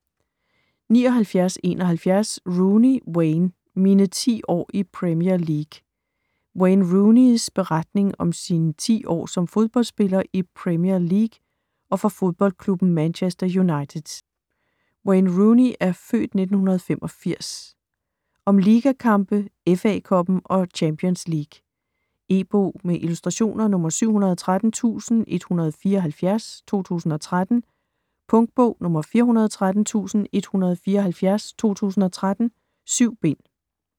79.71 Rooney, Wayne: Mine ti år i Premier League Wayne Rooneys (f. 1985) beretning om sine ti år som fodboldspiller i Premier League og for fodboldklubben Manchester United. Om ligakampe, FA Cuppen og Champions League. E-bog med illustrationer 713174 2013. Punktbog 413174 2013. 7 bind.